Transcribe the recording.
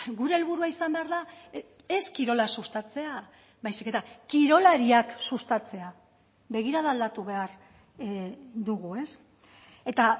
gure helburua izan behar da ez kirola sustatzea baizik eta kirolariak sustatzea begirada aldatu behar dugu ez eta